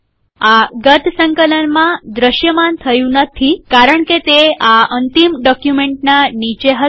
આ ગત સંકલનમાં દ્રશ્યમાન થયું નથી કારણ કે તે આ અંતિમ ડોક્યુમેન્ટના નીચે હતું